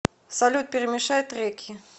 салют перемешай треки